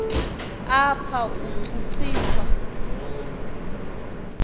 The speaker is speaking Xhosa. apha utshutshi swa